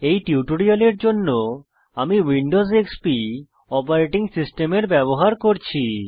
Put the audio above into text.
এই টিউটোরিয়ালের জন্য আমি উইন্ডোজ এক্সপি অপারেটিং সিস্টেমের ব্যবহার করছি